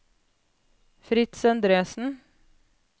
Fritz Endresen